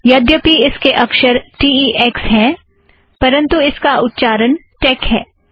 हांलांकि इसके अक्षर T E X हैं परंतु इसका उच्चारण टेक है